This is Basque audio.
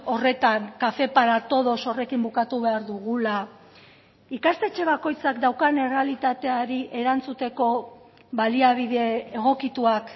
horretan café para todos horrekin bukatu behar dugula ikastetxe bakoitzak daukan errealitateari erantzuteko baliabide egokituak